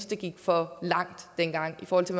det gik for langt dengang i forhold til